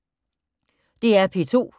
DR P2